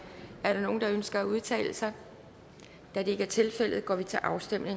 er der nogen der ønsker at udtale sig da det ikke er tilfældet går vi til afstemning